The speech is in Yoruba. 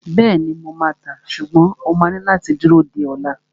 Bẹ́ẹ̀ni, mo máa tàá, ṣùgbọ́n o máa ní láti dúró di ola